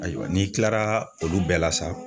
Ayiwa n'i kilara olu bɛɛ la sa